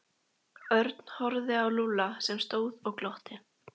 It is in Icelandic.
Örn horfði á Lúlla sem stóð og glotti.